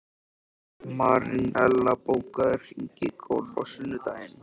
Marinella, bókaðu hring í golf á sunnudaginn.